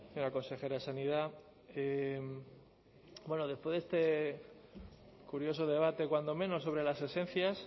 señora consejera de sanidad bueno después de este curioso debate cuando menos sobre las esencias